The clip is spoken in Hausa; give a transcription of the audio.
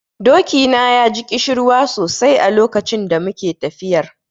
Doki na ya ji ƙishirwa sosai a lokacin da muke tafiyar.